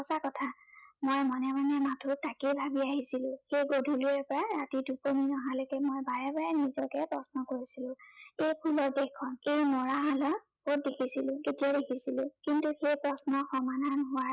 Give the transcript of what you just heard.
মই মনে মনে মাথো তাকে ভাবি আহিছিলো। সেই গধূলিৰে পৰা ৰাতি টোপনি নহালৈকে মই বাৰে বাৰে নিজকে প্ৰশ্ন কৰিছিলো, সেই ফুলৰ দেশখন, এই মৰাহালক কত দেখিছিলো, কেতিয়া দেখিছিলো, কিন্তু সেই প্ৰশ্নৰ সমাধান হোৱাৰ